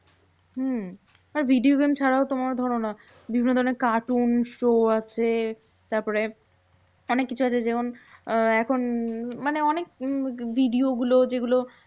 হম আর video game ছাড়াও তোমার ধরো না বিভিন্ন ধরণের cartoon show আছে। তারপরে অনেককিছু আছে যেমন, আহ এখন মানে অনেক উম video গুলো যেগুলো